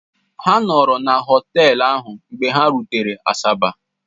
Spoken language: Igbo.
Ha nọọrọ na họtel ahụ mgbe ha rutere Asaba.